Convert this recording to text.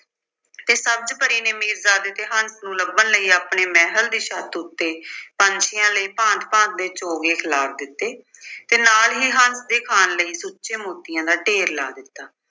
ਤੇ ਸਬਜ਼ ਪਰੀ ਤੇ ਮੀਰਜ਼ਾਦੇ ਤੇ ਹੰਸ ਨੂੰ ਲੱਭਣ ਲਈ ਆਪਣੀ ਮਹਿਲ ਦੀ ਛੱਤ ਉੱਤੇ ਪੰਛੀਆਂ ਲਈ ਭਾਂਤ-ਭਾਂਤ ਦੇ ਚੋਗੇ ਖਿਲਾਰ ਦਿੱਤੇ ਤੇ ਨਾਲ ਹੀ ਹੰਸ ਦੇ ਖਾਣ ਲਈ ਸੁੱਚੇ ਮੋਤੀਆਂ ਦਾ ਢੇਰ ਲਾ ਦਿੱਤਾ।